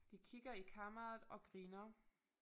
De kigger i kameraet og griner